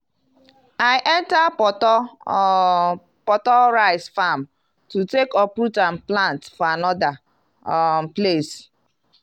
i enta portor um portor rice farm to take uproot am plant for another um place.